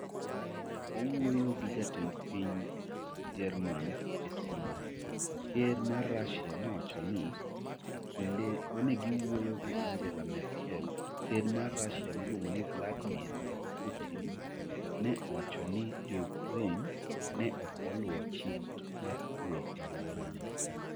Owuoyo gi jatend piny Jerman e simo Ker mar Russia ne owacho ni, e kinde ma ne giwuoyo gi Angela Merkel, Ker mar Russia miluongo ni Vladimir Putin ne owacho ni, Jo - Ukraine ne ok oluwo "chik mar kuwe e alworane.